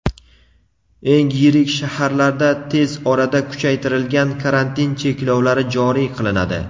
eng yirik shaharlarda tez orada kuchaytirilgan karantin cheklovlari joriy qilinadi.